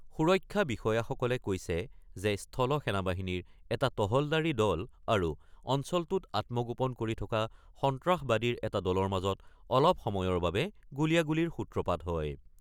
সুৰক্ষা বিষয়াসকলে কৈছে যে, স্থল সেনাবাহিনীৰ এটা তহলদাৰী দল আৰু অঞ্চলটোত আত্মগোপন কৰি থকা সন্ত্ৰাসবাদীৰ এটা দলৰ মাজত অলপ সময়ৰ বাবে গুলিয়াগুলিৰ সূত্ৰপাত হয়।